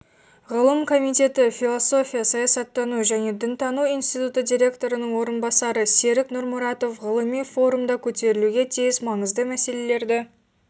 ғылым комитеті философия саясаттану және дінтану институты директорының орынбасары серік нұрмұратов ғылыми форумда көтерілуге тиіс маңызды мәселелерді